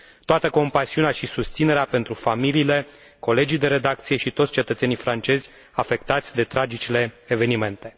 Toată compasiunea și susținerea pentru familiile, colegii de redacție și toți cetățenii francezi afectați de tragicele evenimente.